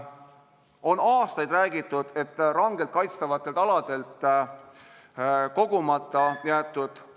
On aastaid räägitud, et rangelt kaitstavate alade puhul on jäetud ...